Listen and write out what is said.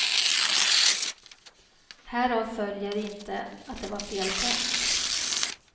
Härav följer inte att det var fel tänkt.